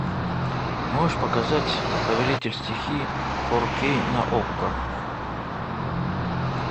можешь показать повелитель стихий фор кей на окко